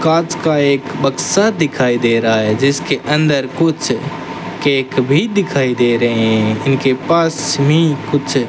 कांच का एक बक्सा दिखाई दे रहा है जिसके अंदर कुछ केक भी दिखाई दे रहे हैं उनके पास में ही कुछ --